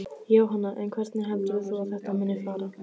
Jóhanna: En hvernig heldur þú að þetta muni fara?